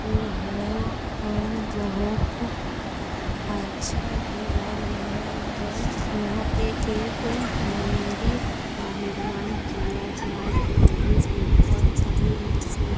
इ है और बहुत अच्छा भी लग रहा है यहाँ पे एक मंदिर का निर्माण किया जा रहा है जिसमें बहुत सारे ईंट सीमेंट --